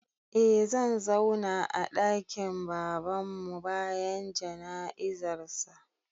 Eh zan zauna a ɗakin Babanmu bayan jana'izarsa.